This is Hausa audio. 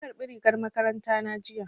Na ƙarbi rigar makarantar na jiya